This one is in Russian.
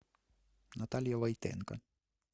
наталья войтенко